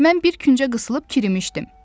Mən bir küncə qısılıb kirimişdim.